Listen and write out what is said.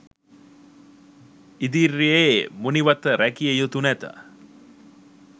ඉදිර්යේ මුනිවත රැකිය යුතු නැත